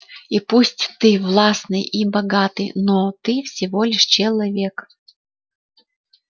и пусть ты властный и богатый но ты всего лишь человек